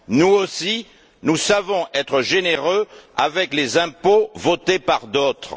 Nous aussi, nous savons être généreux avec les impôts votés par d'autres.